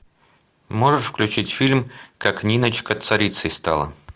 можешь включить фильм как ниночка царицей стала